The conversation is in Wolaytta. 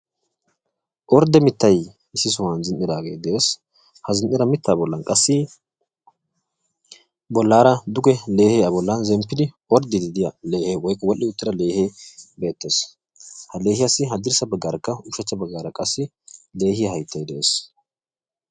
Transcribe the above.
Ordde mitay issi bolla de'ees. Ha mitta bolla duge zin'idda leehes de'ees. Ha leehekka keehippe addussaa.